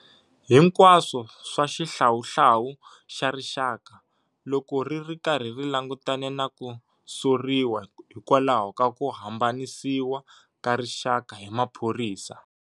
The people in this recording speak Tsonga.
Hinkwaswo swa Xihlawuhlawu xa Rixaka, loko ri ri karhi ri langutane na ku soriwa hikwalaho ka ku hambanisiwa ka rixaka hi maphorisa.